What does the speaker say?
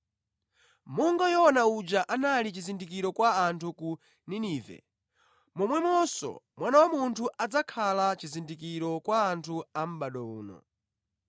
Monga Yona uja anali chizindikiro kwa anthu ku Ninive, momwemonso Mwana wa Munthu adzakhala chizindikiro kwa anthu a mʼbado uno.